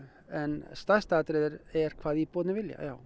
en stærsta atriðið er er hvað íbúar vilja já